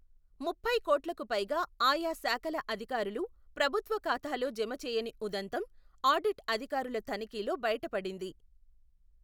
ముప్పై కోట్లకుపైగా, ఆయా శాఖల అధికారులు ప్రభుత్వ ఖాతాలో జమ చేయని ఉదంతం, ఆడిట్ అధికారుల తనిఖి లో బయటపడింది.